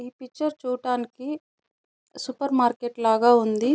ఈ పిక్చర్ చూడడానికి supermarket లాగా ఉంది.